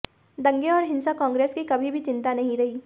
दंगे और हिंसा कांग्रेस की कभी भी चिंता नहीं रही